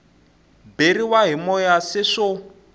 beriwa hi moya se swo